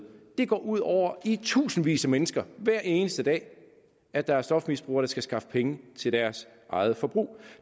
det går ud over i tusindvis af mennesker hver eneste dag at der er stofmisbrugere der skal skaffe penge til deres eget forbrug